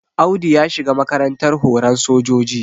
Audu ya shiga makarantar horan sojoji